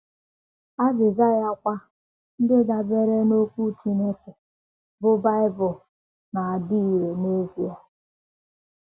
Azịza ya kwa, ndị dabeere n’Okwu Chineke, bụ́ Bible, na - adị irè n’ezie!